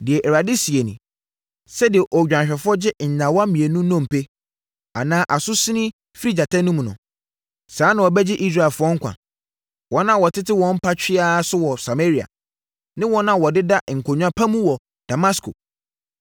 Deɛ Awurade seɛ nie: “Sɛdeɛ odwanhwɛfoɔ gye nnyawa mmienu nnompe anaa aso sin firi gyata anom no, saa ara na wɔbɛgye Israelfoɔ nkwa, wɔn a wɔtete wɔn mpa twea so wɔ Samaria, ne wɔn a wɔdeda nkonwa pa mu wɔ Damasko.”